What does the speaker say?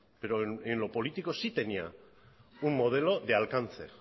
pero en lo político sí tenía un modelo de alcance